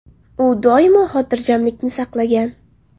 U – doimo xotirjamlikni saqlagan.